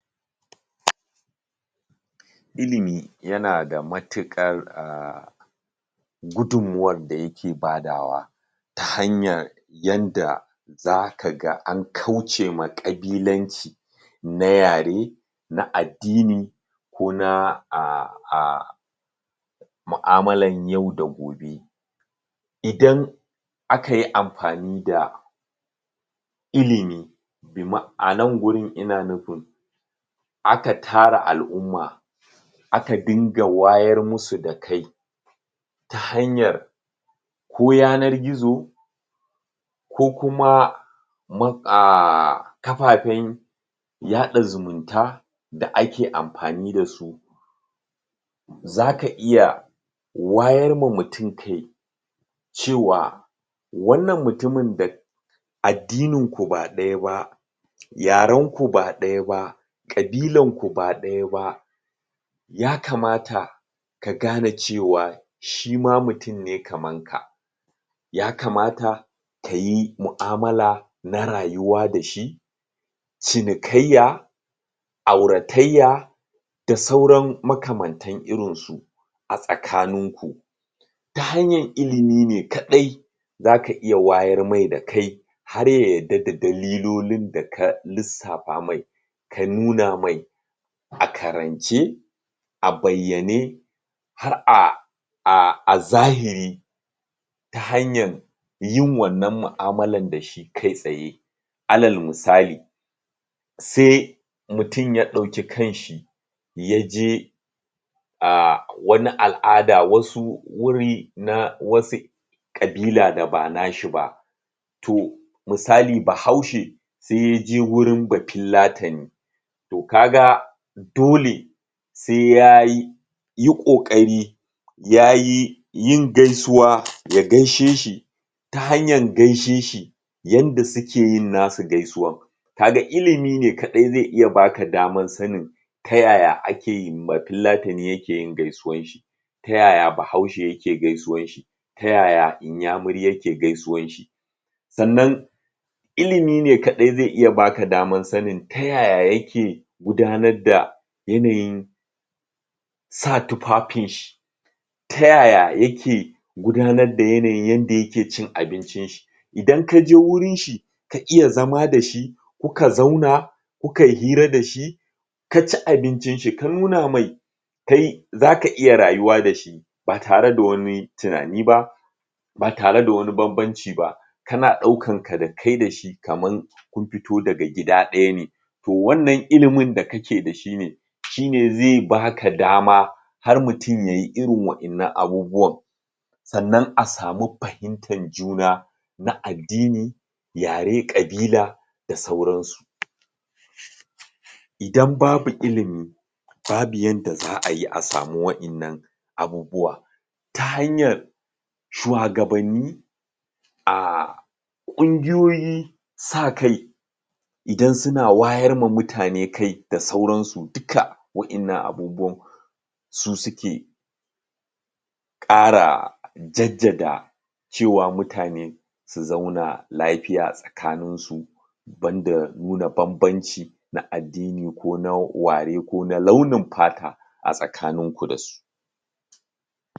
Ilimi yana da matuƙar ahh gudunmawar da yake badawa ta hanyar yanda za ka ga an kauce ma ƙabilanci, na yare, na addini, ko na ahh ahh mu'amulan yau da gobe. Idan akayi amfani da ilimi, anan gurin ina nufin aka tara al'umma aka dinga wayar musu da kai, ta hanyar ko yanar gizo, ko kuma mu aaaaaaahhh kafafen yaɗa zumunta, da ake amfani da su. Zaka iya wayarma mutum kai, cewa wannan mutumin da addininku ba ɗaya ba yarenku ba ɗaya ba, ƙabilanku ba ɗaya ba, ya kamata ka gane cewa shima mutum ne kamanka. Ya kamata, kayi mu'amula na rayuwa da shi, cinikaiya, auratayya, da sauran makamantan irin su a tsakaninku. Ta hanyan ilimi ne kaɗai za ka iya wayar mai da kai, har ya yadda da dalilolin da ka lissafa mai ka nuna mai, a karance, a bayyane, har a a zahiri, ta hanyan yin wannan mu'amulan da shi kai tsaye. Alal misali sai mutum ya ɗauki kanshi ya je ahh wani al'ada wasu wuri na wasu ƙabila da ba nashi ba, to misali bahaushe sai ya je wurin bafillatani, to kaga dole sai yayi yi ƙoƙari yayi yin gaisuwa, ya gaishe shi ta hanyan gaishe shi yanda suke yin na su gaisuwan. Ka ga ilimi kaɗai zai iya baka damar sanin ta yaya ake bafillatani ya ke yin gaisuwan shi, ta yaya bahaushe yake gaisuwan shi, ta yaya inyamuri yake gaisuwan shi, Sannan ilimi ne kaɗai zai iya baka daman sanin ta yaya yake gudanar da yanayin sa tufafinshi, ta yaya yake gudanar da yanayin yanda yake cin abincin shi, idan akhje wurin shi ka iya zama da shi, kuka zauna, kukai hira da shi, ka ci abincin shi ka nuna mai kai, zaka iya rayuwa da shi ba tare da wani tunani ba, ba tare da wani banbanci ba, kana ɗaukanka da kai da shi kaman kun fito daga gida ɗaya ne, to wannan ilimin da kake da shi ne shine zai baka dama har mutum yayio irin wa'innan abubuwan, sannan a samu fahimtan zuna, na addini, yare, ƙabila da sauransu. Idan babu ilimi, babu yadda za'ayi a samu wa'innan abubuwa ta hanyar shuwagabanni, ahhh ƙungiyoyin sakai idan suna wayarma mutane kai duka da sauransu wa'innan abubuwan su sukje ƙara jaddada cewa mutane su zauna lafiya a tsakanin su, banda nuna banbanci, na addini ko na ware ko na ɗaunin fata a tsakaninku da su.